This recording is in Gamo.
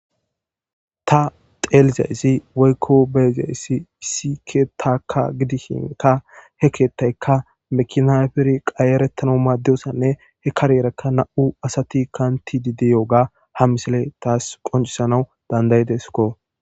ta xeelizayssi woykko beezayssi issi keetakka gidishinka he keetayka mekinaferi qayerettana maaddiyosanne he kareeraka na7u asati kantidideyooga ha misile taas qoncisanaw dandayidesko